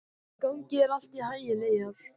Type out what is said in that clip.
Gangi þér allt í haginn, Eyjar.